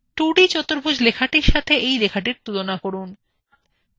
2d চতুর্ভুজ লেখাটির সাথে এই লেখাটির তুলনা করুন